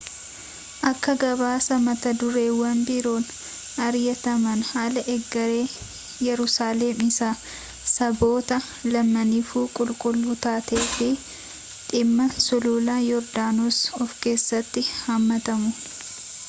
akka gabaasa matadureewwan biroon mari'ataman haala egeree yerusaalem isii saboota lamaaniifuu qulqulluu taatee fi fi dhimma sulula yoordaanosi of keessatti hammatu